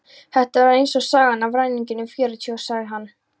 Þetta var eins og sagan af ræningjunum fjörutíu, sagði hann.